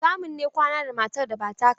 Haramun ne kwana da matar da ba taka ba.